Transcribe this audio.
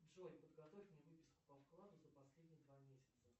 джой подготовь мне выписку по вкладу за последние два месяца